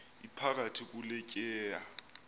iphakathi kule tyeya